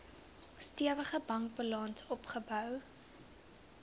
stewige bankbalans opgebou